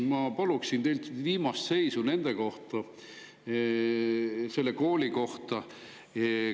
Ma palun teilt viimast selle kooli seisu kohta.